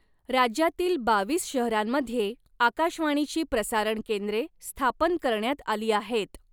राज्यातील बावीस शहरांमध्ये आकाशवाणीची प्रसारण केंद्रे स्थापन करण्यात आली आहेत.